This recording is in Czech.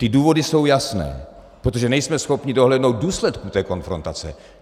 Ty důvody jsou jasné - protože nejsme schopni dohlédnout důsledků té konfrontace.